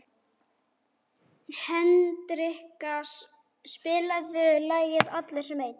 Hendrikka, spilaðu lagið „Allir sem einn“.